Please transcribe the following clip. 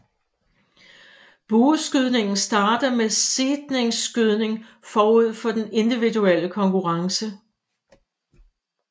Bueskydningen starter med seedningsskydning forud for den individuelle konkurrence